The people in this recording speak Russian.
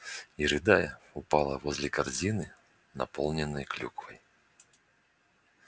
и рыдая упала возле корзины наполненной клюквой